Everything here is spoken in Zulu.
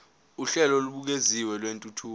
uhlelo olubukeziwe lwentuthuko